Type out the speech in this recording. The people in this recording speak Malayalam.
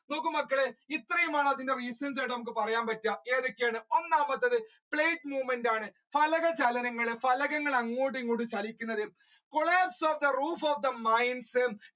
നോക്ക് മക്കളെ ഇത്രയുമാണ് നമ്മുക്ക് അതിന്റെ reasons ആയിട്ട് പറയാൻ പറ്റുക. ഏതൊക്കെയാണ് ഒന്നാമത്തത് movement ആണ് ഫലക ചലനങ്ങൾ ഫലകങ്ങൾ അങ്ങോട്ടും ഇങ്ങോട്ടും ചലിക്കുന്നത് collapse of the roof of the minds